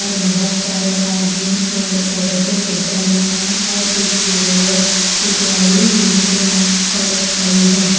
और बहुत सारे आदमी और औरतें ऊपर में हैं और एक येलो सूट वाली नीचे में औरत खरी है।